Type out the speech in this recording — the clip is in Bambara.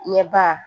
Ɲɛba